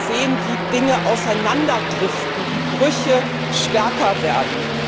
sehen, wie Dinge auseinanderdriften, wie Brüche stärker werden.